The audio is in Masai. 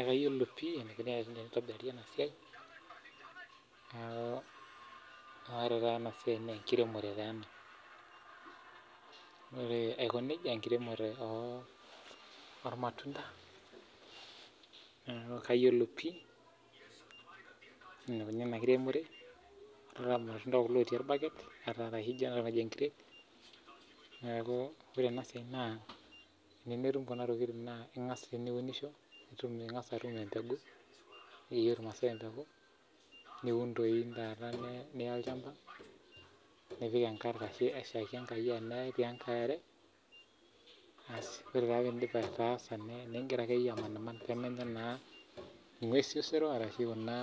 Ekayiolo pih eneikuni enitobiri ena siai ore taata ena siai naa enkiremore taa ena Ore aiko nija naa enkiremore oolmatunda niaku kayiolo pih enikuni ena kiremore Ore taa amu irmatunda ķulo otii olbaket apik entray niaku ore eniyieu nitum kuna tokiting naa ingas aturisho ningas atum embeku ejo ilmaasai embuku niun toi taata niya olchamba nipik enkare aishaki enkare asi ore taa piidip ataasa nigira akeyie amaniman peemenya naa ingwesi osero ashu kuna